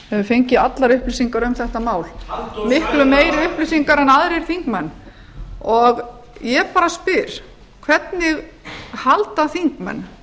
hefur fengið allar upplýsingar um þetta mál miklu meiri upplýsingar en aðrir þingmenn og ég bara spyr hvernig halda þingmenn